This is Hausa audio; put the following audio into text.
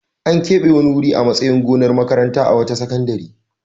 An keɓe wani wuri a matsayin gonar makaranta a wata sakandare.